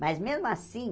Mas, mesmo assim,